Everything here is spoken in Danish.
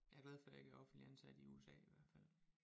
Jeg er glad for at jeg ikke er offentlig ansat i USA i hvert fald